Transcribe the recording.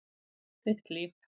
Þitt líf.